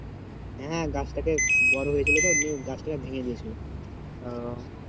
হ্যাঁ গাছটাকে বড় হয়ে ছিল তো এমনি গাছটাকে ভেঙে দিয়েছিল।